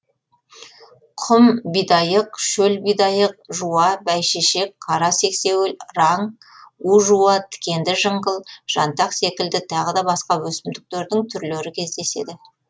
құм бидайық шөл бидайық жуа бәйшешек қара сексеуіл раң у жуа тікенді жыңғыл жантақ секілді тағы да басқа өсімдіктердің түрлері кездеседі